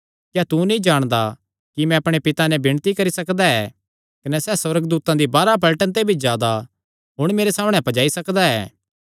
क्या तू नीं जाणदा कि मैं अपणे पिता नैं विणती करी सकदा कने सैह़ सुअर्गदूतां दी बाराह पलटन ते भी जादा हुण मेरे सामणै पज्जाई सकदा ऐ